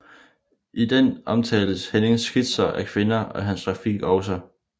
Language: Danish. I den omtales Hennings Skitser af kvinder og hans grafik også